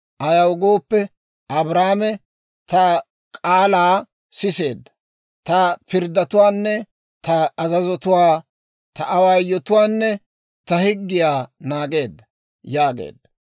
Ayaw gooppe, Abrahaame ta k'aalaa siseedda; ta pirddatuwaanne ta azazuwaa, ta awaayotuwaanne ta higgiyaa naageedda» yaageedda.